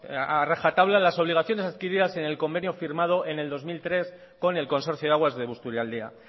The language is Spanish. a rajatabla las obligaciones adquiridas en el convenio firmado en el dos mil tres con el consorcio de aguas de busturialdea